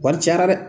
Wari cayara dɛ